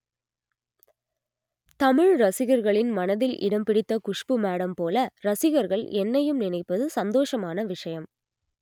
தமிழ் ரசிகர்களின் மனதில் இடம் பிடித்த குஷ்பு மேடம் போல ரசிகர்கள் என்னையும் நினைப்பது சந்தோஷமான விஷயம்